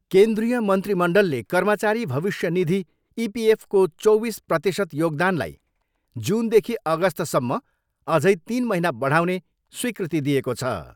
केन्द्रीय मन्त्रीमण्डलले कर्मचारी भविष्य निधि इपिएफको चौबिस प्रतिशत योगदानलाई जुनदेखि अगस्तसम्म अझै तिन महिना बढाउने स्वीकृति दिएको छ।